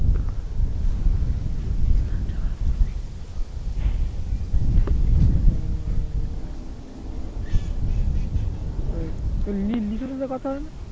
ওই লিলিসার সাথে কথা হয় না